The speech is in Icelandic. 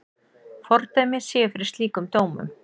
Fordæmi séu fyrir slíkum dómum.